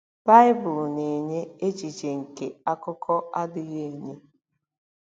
Baịbụl na-enye echiche nke akụkọ adịghị enye.